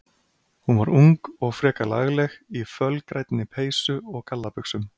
Hún var ung og frekar lagleg, í fölgrænni peysu og gallabuxum.